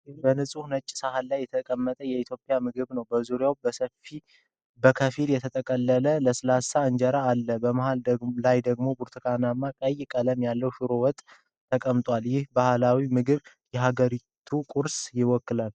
በንጹህ ነጭ ሳህን ላይ የተቀመጠ የኢትዮጵያ ምግብ ነው። በዙሪያው በከፊል የተጠቀለለ ለስላሳ እንጀራ አለ። በመሃል ላይ ደግሞ የብርቱካን ቀይ ቀለም ያለው፣ ሽሮ ወጥ ተቀምጧል። ይህ ባህላዊ ምግብ የሀገሪቱን ቅርስ ይወክላል።